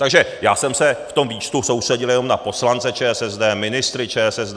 Takže já jsem se v tom výčtu soustředil jenom na poslance ČSSD, ministry ČSSD.